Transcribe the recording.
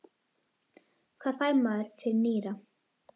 Hvað fær maður fyrir nýra?